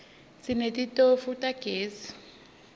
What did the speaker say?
sinetitofu tagezi